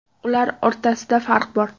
Ular o‘rtasida farq bor.